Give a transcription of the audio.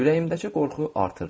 Ürəyimdəki qorxu artırdı.